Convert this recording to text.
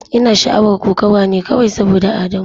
Ina sha'awar kokawa ne kawai saboda Adamu.